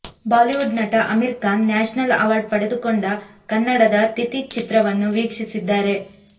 Bollywood ನಟ Aamir Khan national award ಪಡೆದುಕೊಂಡ ಕನ್ನಡದ ತಿಥಿ ಚಿತ್ರವನ್ನು ವೀಕ್ಷಿಸಿದ್ದಾರೆ